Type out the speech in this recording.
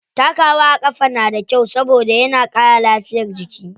Takawa a ƙafa na da kyau saboda yana ƙara lafiyar jiki.